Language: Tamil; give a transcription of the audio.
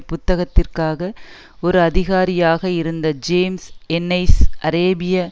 புத்தகத்திற்காக ஒரு அதிகாரியாக இருந்த ஜேம்ஸ் என்னெஸ் அரேபிய